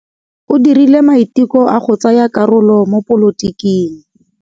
O dirile maitekô a go tsaya karolo mo dipolotiking.